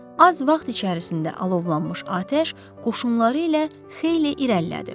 Az vaxt içərisində alovlanmış atəş qoşunları ilə xeyli irəlilədi.